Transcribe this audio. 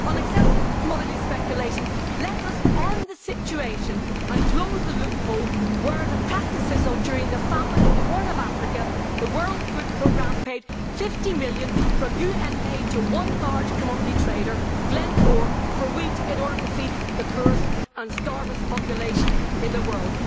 On excessive commodity speculation, let us end the situation and close the loophole whereby during the famine in the Horn of Africa, the World Food Programme paid EUR 50 million from UN aid to one large commodity trader, Glencore, for wheat it ordered to feed the poorest and hungriest population in the world.